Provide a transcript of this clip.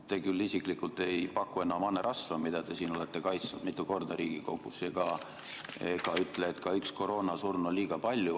Te küll isiklikult ei paku enam hanerasva, mida te siin Riigikogus olete kaitsnud mitu korda, ega ütle, et ka üks koroonasurm on liiga palju.